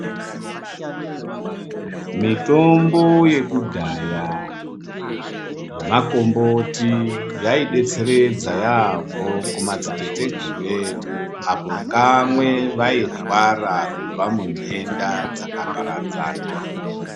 Mitombo yekudhaya ,yemakomboti yaidetseredza yaampho kumadziteteguru edu apo kamwe vairwara kubva muntenda dzakaparadzana.